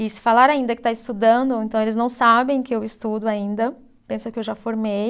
E se falar ainda que está estudando, então eles não sabem que eu estudo ainda, pensam que eu já formei.